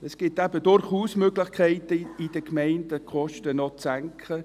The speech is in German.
Es gibt eben durchaus Möglichkeiten, in den Gemeinden die Kosten noch zu senken.